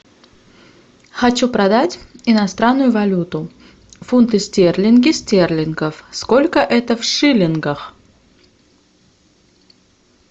хочу продать иностранную валюту фунты стерлинги стерлингов сколько это в шиллингах